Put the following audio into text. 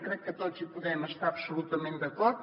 crec que tots hi podem estar absolutament d’acord